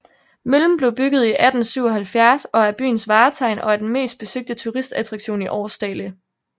Møllen blev bygget i 1877 og er byens vartegn og er den mest besøgte turistattraktion i Aarsdale